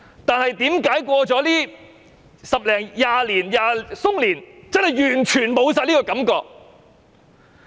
但是，為何經過十多二十年後，我們已完全沒有這種感覺？